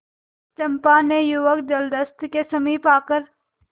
चंपा ने युवक जलदस्यु के समीप आकर